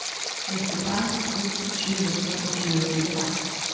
nittifem tusen sju hundre og tjuefire